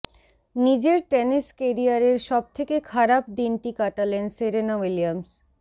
নিজের টেনিস কেরিয়ারের সব থেকে খারাপ দিনটি কাটালেন সেরেনা উইলিয়ামস